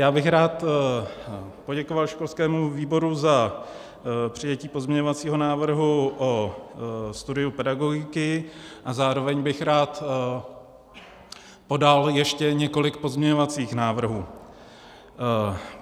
Já bych rád poděkoval školskému výboru za přijetí pozměňovacího návrhu o studiu pedagogiky a zároveň bych rád podal ještě několik pozměňovacích návrhů.